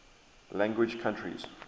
language countries